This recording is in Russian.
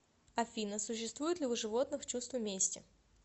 афина существует ли у животных чувство мести